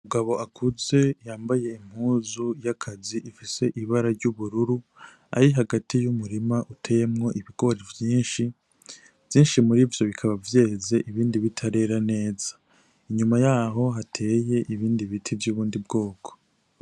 Umugabo akuze yambaye impuzu y'akazi ifise ibara ry'ubururu. Ari hagati y'umurima uteyemwo ibigori vyinshi, vyinshi muri vyo bikaba vyeze ibindi bitarera neza. Inyuma y'aho hateye ibindi biti vy'ubundi bwoko.